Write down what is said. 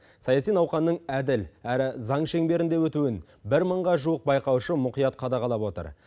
саяси науқанның әділ әрі заң шеңберінде өтуін бір мыңға жуық байқаушы мұқият қадағалап отыр